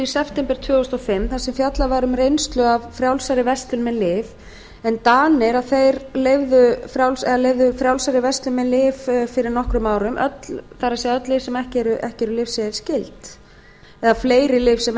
september tvö þúsund og fimm þar sem fjallað var um reynslu af frjálsari verslun með lyf en danir leyfðu frjálsari verslun með lyf fyrir nokkrum árum það er öll lyf eða fleiri lyf sem